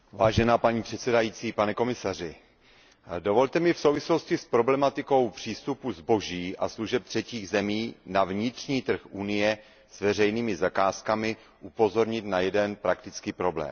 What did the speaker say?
Paní předsedající, pane komisaři, dovolte mi v souvislosti s problematikou přístupu zboží a služeb třetích zemí na vnitřní trh Evropské unie s veřejnými zakázkami upozornit na jeden praktický problém.